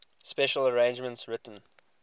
special arrangements written